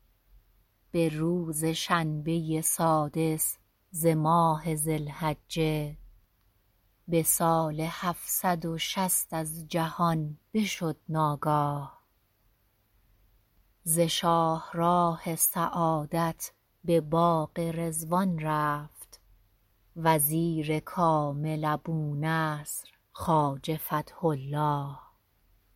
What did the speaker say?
به روز شنبه سادس ز ماه ذی الحجه به سال هفتصد و شصت از جهان بشد ناگاه ز شاهراه سعادت به باغ رضوان رفت وزیر کامل ابونصر خواجه فتح الله